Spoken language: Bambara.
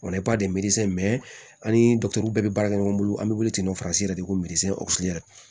O la i b'a de an ni bɛɛ bɛ baara kɛ ɲɔgɔn bolo an be wuli ten depi ko